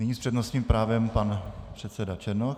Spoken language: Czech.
Nyní s přednostním právem pan předseda Černoch.